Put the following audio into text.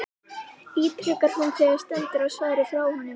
ítrekar hún þegar stendur á svari frá honum.